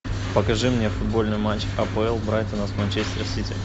покажи мне футбольный матч апл брайтона с манчестер сити